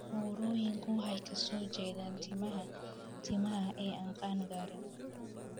Burooyinku waxay ka soo jeedaan timaha timaha ee aan qaan-gaarin.